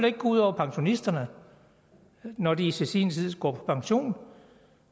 ikke gå ud over pensionisterne når de til sin tid skulle gå på pension